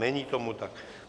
Není tomu tak.